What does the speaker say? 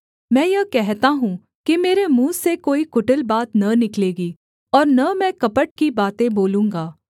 मैं यह कहता हूँ कि मेरे मुँह से कोई कुटिल बात न निकलेगी और न मैं कपट की बातें बोलूँगा